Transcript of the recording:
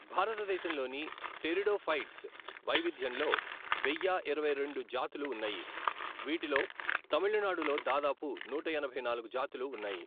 భారతదేశంలోని టెరిడోఫైట్స్ వైవిధ్యంలో వెయ్యా ఇరవై రెండు జాతులు ఉన్నాయి, వీటిలో తమిళనాడులో దాదాపు నూట ఎనభై నాలుగు జాతులు ఉన్నాయి.